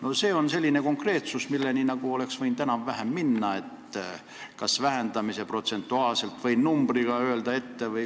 Aga see on selline konkreetsus, milleni oleks võinud enam-vähem minna, vähendamise kas protsentuaalselt või numbriga ette öelda.